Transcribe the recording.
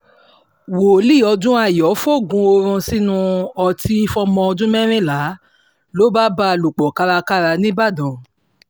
wòlíì odunayọ fòógùn ọ̀run sínú ọtí fọmọ ọdún mẹ́rìnlá ló bá bá a lò pọ̀ kárakára nìbàdàn